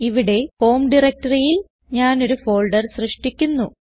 ഇവിടെ ഹോം directoryൽ ഞാൻ ഒരു ഫോൾഡർ സൃഷ്ടിക്കുന്നു